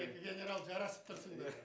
екі генерал жарасып тұрсыңдар